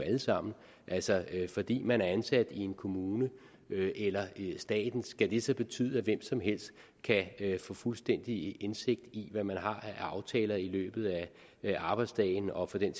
alle sammen altså fordi man er ansat i en kommune eller i staten skal det så betyde at hvem som helst kan få fuldstændig indsigt i hvad man har af aftaler i løbet af arbejdsdagen og for den